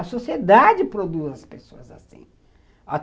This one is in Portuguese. A sociedade produz as pessoas assim.